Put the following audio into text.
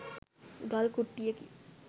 ගල් කුට්ටියකි.